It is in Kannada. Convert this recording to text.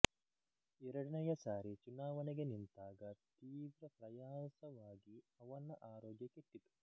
ಎರಡನೆಯ ಸಾರಿ ಚುನಾವಣೆಗೆ ನಿಂತಾಗ ತೀವ್ರ ಪ್ರಯಾಸವಾಗಿ ಅವನ ಆರೋಗ್ಯ ಕೆಟ್ಟಿತು